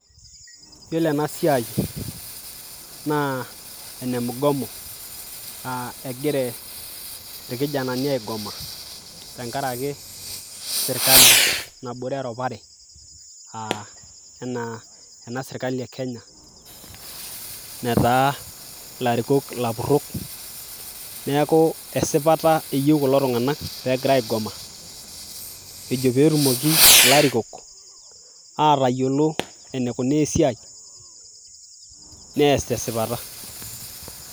yiolo enasiai naa ene mgomo naa egire irkijanani aigoma tenkarake sirkali nabore erupare uh, enaa ena sirkali e kenya netaa ilarikok ilapurrok neeku esipata eyieu kulo tung'anak pegira aigoma ejo petumoki ilarikok atayiolo enikunaa esiai nees tesipata.